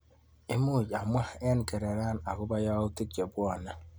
Imuch imwawa eng kereran akobo yautik chebwane?